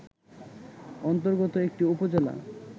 অন্তর্গত একটি উপজেলা